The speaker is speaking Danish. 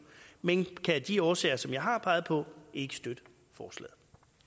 men kan af de årsager som jeg har peget på ikke støtte forslaget